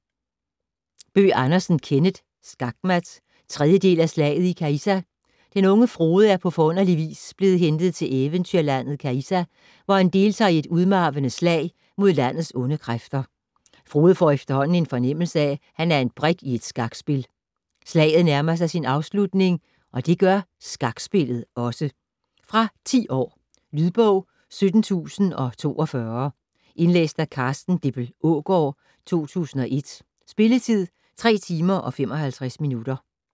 Bøgh Andersen, Kenneth: Skakmat 3. del af Slaget i Caïssa. Den unge Frode er på forunderlig vis blevet hentet til eventyrlandet Caïssa, hvor han deltager i et udmarvende slag mod landets onde kræfter. Frode får efterhånden en fornemmelse af, at han er en brik i et skakspil. Slaget nærmer sig sin afslutning, og det gør skakspillet også. Fra 10 år. Lydbog 17042 Indlæst af Carsten Dippel Aagaard, 2001. Spilletid: 3 timer, 55 minutter.